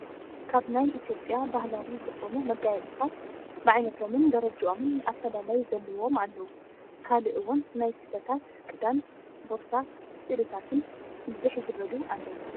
ካብ ናይ ኢትዮጵያ ባህላዊ ዝኮኑ መጋየፂታት ብዓይነቶምን ደረጀኦምን ኣፈላላይ ዘለዎም ኣለዉ ካልእ እውን ናይ ስፈታት፣ ክዳን ፣ ቦርሳ ፣ ስእልታትን ብዝሕ ዝበሉ ኣለዉ።